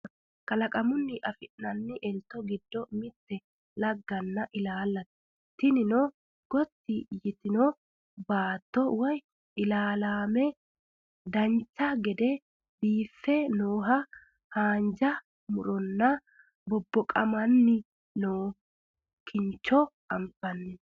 kalqamunni afi'nanni elto giddo mitte lagganna ilaallate tinino gotti yitino baatto woye ilaalaamete dancha gede biife nooha haanja muronna bobboqamanni noo kincho anfanni